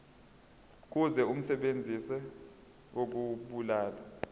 kuzo umsebenzi wokubulala